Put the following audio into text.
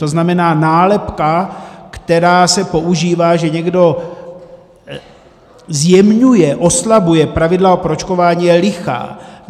To znamená, nálepka, která se používá, že někdo zjemňuje, oslabuje pravidla pro očkování, je lichá.